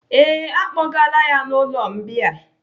Ee, à kpọgaala ya n'ụlọ mbìa.